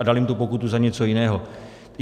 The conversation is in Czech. A dali mu tu pokutu za něco jiného.